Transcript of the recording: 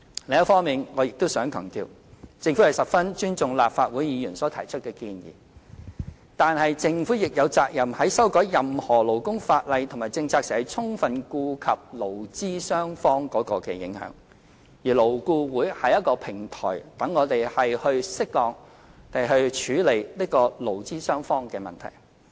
另一方面，我亦想強調，政府十分尊重立法會議員所提出的建議，但政府亦有責任在修改任何勞工法例和政策時，充分顧及對勞資雙方的影響，而勞顧會是一個平台，讓我們適當地處理勞資雙方的問題。